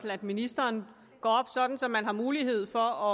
at ministeren går op sådan at man har mulighed for